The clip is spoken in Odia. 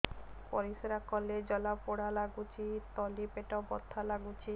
ପରିଶ୍ରା କଲେ ଜଳା ପୋଡା ଲାଗୁଚି ତଳି ପେଟ ବଥା ଲାଗୁଛି